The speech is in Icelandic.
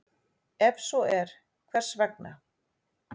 Ef svo er, hvers vegna?